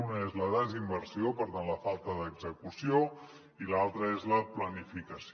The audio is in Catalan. una és la desinversió per tant la falta d’execució i l’altra és la planificació